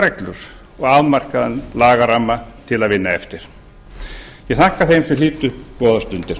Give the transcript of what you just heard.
reglur og afmarkaðan lagaramma til að vinna eftir ég þakka þeim sem hlýddu góðar stundir